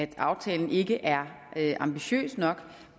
at aftalen ikke er ambitiøs nok